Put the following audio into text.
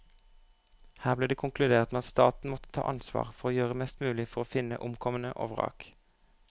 Her ble det konkludert med at staten måtte ta ansvar for å gjøre mest mulig for å finne omkomne og vrak.